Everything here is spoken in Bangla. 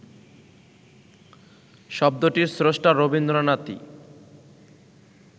শব্দটির স্রষ্টা রবীন্দ্রনাথই